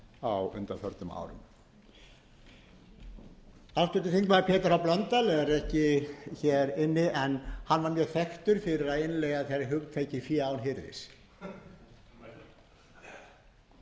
á undanförnum árum háttvirtur þingmaður pétur h blöndal er ekki hér inni en hann var mjög þekktur fyrir að innleiða hugtakið fá án hirðis